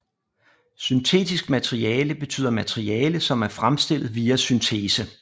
Syntetisk materiale betyder materiale som er fremstillet via syntese